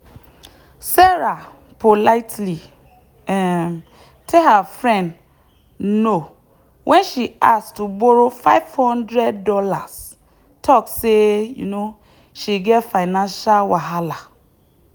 sarah politely um tell her friend no when she ask to borrow five hundred dollars talk say um she get financial wahala.